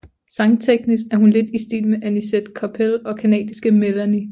Sangteknisk er hun lidt i stil med Annisette Koppel og canadiske Melanie